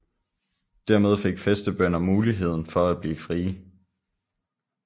Dermed fik fæstebønder muligheden for at blive frie